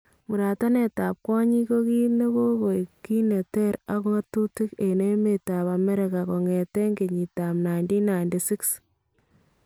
Muratanetab kwonyiik ko kiit nekokoek kiit neteer ak ng'atutikab en emeetab Amerika kongeteen kenyitab 1996